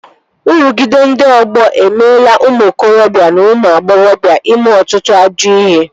Nrụgide ndị ọgbọ emeela ụmụ okorobịa na ụmụ agbọghọbịa ime ọtụtụ ajọ ihe